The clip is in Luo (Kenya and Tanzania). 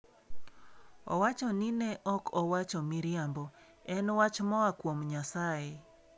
Owacho ni ne ok owacho miriambo en wach moa kuom Nyasaye.